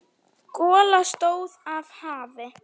Gola stóð af hafi.